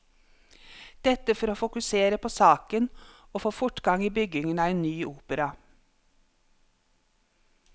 Dette for å fokusere på saken og få fortgang i byggingen av en ny opera.